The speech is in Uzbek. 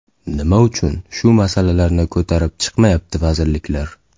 Nima uchun shu masalalarni ko‘tarib chiqmayapti vazirliklar?